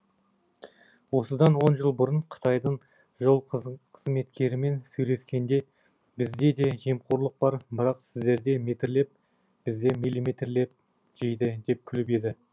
осыдан он жыл бұрын қытайдың жол қызметкерімен сөйлескенде бізде де жемқорлық бар бірақ сіздерде метрлеп бізде миллиметрлеп жейді деп күліп еді